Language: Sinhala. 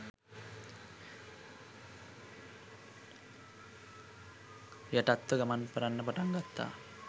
යටත්ව ගමන් කරන්න පටන් ගත්තා